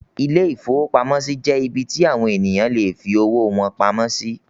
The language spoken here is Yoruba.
Ilé-ìfowópamọ́sí jẹ́ ibí tí àwon ènìyàn lè fi owó wọn pamọ́ sí